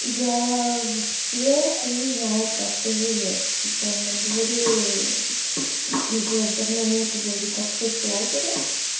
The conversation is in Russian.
я вообще хуй знает как ты живёшь типа на дворе уже давно нет вроде как соцлагеря